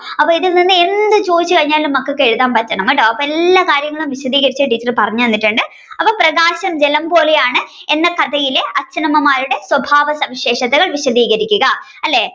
അപ്പോൾ ഇതിൽ നിന്ന് എന്ത് ചോദിച്ചു കഴിഞ്ഞാലും മക്കൾക്ക് എഴുതാൻ പറ്റണം കേട്ടോ അപ്പൊ എല്ലാ കാര്യങ്ങളും വിശധിയ്ക്കരിച്ഛ് ടീച്ചർ പറഞ്ഞുതന്നിട്ടുണ്ട് അപ്പൊ പ്രകാശം ജലം പോലെയാണ് എന്ന കഥയിലെ അച്ഛനമ്മമാരുടെ സ്വഭാവ സവിശേഷതകൾ വിശധിയ്ക്കരിക്കുക്ക അല്ലെ.